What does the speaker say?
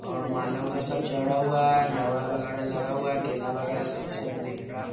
और माला-उला सब चढ़ा हुआ है वगैरा लगा हुआ है केला वगैरा सब दिख रहा है।